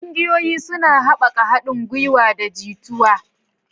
Ƙungiyoyi suna haɓaka haɗin gwiwa da jituwa.